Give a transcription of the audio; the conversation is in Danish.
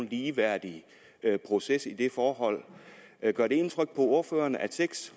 ligeværdig proces i det forhold gør det indtryk på ordføreren at seks